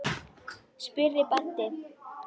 spurði Baddi.